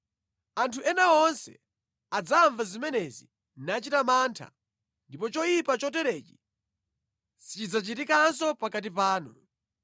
Anthu ena onse adzamva zimenezi nachita mantha, ndipo choyipa choterechi sichidzachitikanso pakati panu.